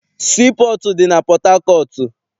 Sii pọọtụ dị na Pọthakọọtụ.